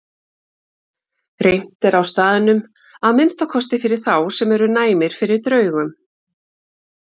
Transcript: Reimt er á staðnum, að minnsta kosti fyrir þá sem eru næmir fyrir draugum.